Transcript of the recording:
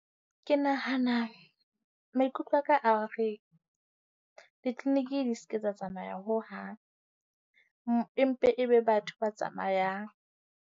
Ke nahana, maikutlo a ka a re di-clinic di se ke tsa tsamaya hohang. Empe e be batho ba tsamayang.